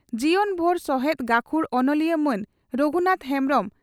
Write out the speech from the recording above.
ᱡᱤᱵᱚᱱ ᱵᱷᱩᱨ ᱥᱚᱦᱮᱛ ᱜᱟᱹᱠᱷᱩᱲ ᱚᱱᱚᱞᱤᱭᱟᱹ ᱢᱟᱱ ᱨᱚᱜᱷᱩᱱᱟᱛᱷ ᱦᱮᱢᱵᱽᱨᱚᱢ